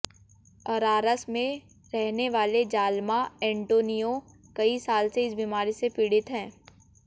अरारस में रहने वाले जालमा एन्टोनियो कई साल से इस बीमारी से पीड़ित हैं